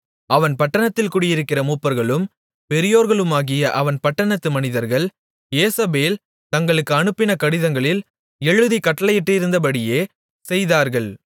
அவன் பட்டணத்தில் குடியிருக்கிற மூப்பர்களும் பெரியோர்களுமாகிய அவன் பட்டணத்து மனிதர்கள் யேசபேல் தங்களுக்கு அனுப்பின கடிதங்களில் எழுதிக் கட்டளையிட்டிருந்தபடியே செய்தார்கள்